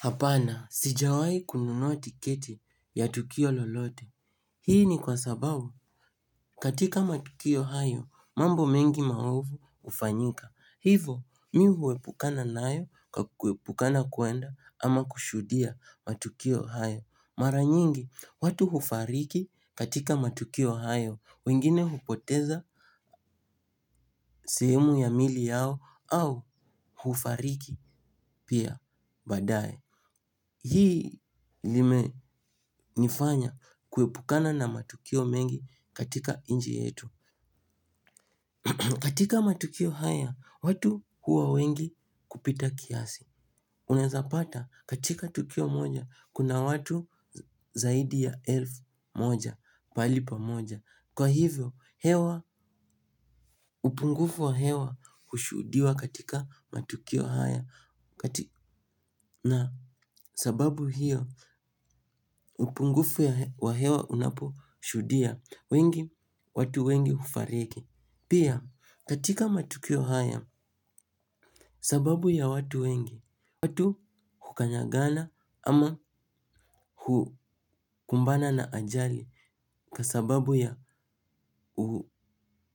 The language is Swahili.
Hapana, sijawahi kununua tiketi ya tukio lolote. Hii ni kwa sababu, katika matukio hayo, mambo mengi maovu hufanyika. Hivo, mi huepukana nayo kwa kuepukana kuenda ama kushuhudia matukio hayo. Mara nyingi, watu hufariki katika matukio hayo, wengine hupoteza sehemu ya miili yao au hufariki pia baadaye. Hii limenifanya kuepukana na matukio mengi katika inchi yetu. Katika matukio haya, watu huwa wengi kupita kiasi. Unaweza pata katika tukio moja, kuna watu zaidi ya elfu moja, mahali pamoja. Kwa hivyo, hewa, upungufu wa hewa hushuhudiwa katika matukio haya. Na sababu hiyo upungufu ya wa hewa unaposhudia wengi, watu wengi hufariki. Pia katika matukio haya sababu ya watu wengi, watu hukanyangana ama hukumbana na ajali. Kwa sababu ya